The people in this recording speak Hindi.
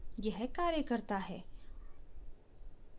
यह कार्य करता है